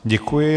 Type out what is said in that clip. Děkuji.